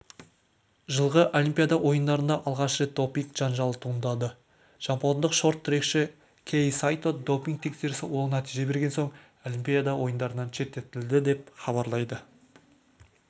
жылғы олимпиада ойындарында алғаш рет допинг жанжалы туындады жапондық шорт-трекші кэй сайто допинг тексерісі оң нәтиже берген соң олимпиада ойындарынан шеттетілді деп хабарлайды